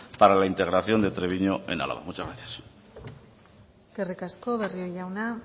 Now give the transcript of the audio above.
para la integración de treviño en álava muchas gracias eskerrik asko barrio jauna